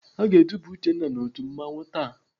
Aga eduba Uchenna n'otu mmanwụ taa.